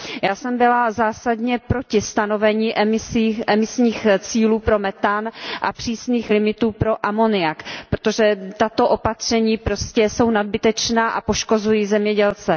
Já jsem byla zásadně proti stanovení emisních cílů pro methan a přísných limitů pro amoniak, protože tato opatření jsou nadbytečná a poškozují zemědělce.